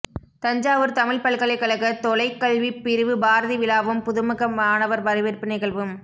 தஞ்சாவூர் தமிழ்ப் பல்கலைக்கழக தொலைக்கல்விப் பிரிவு பாரதி விழாவும் புதுமுக மாணவர் வரவேற்பு நிகழ்வும்